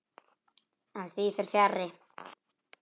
En því fer fjarri.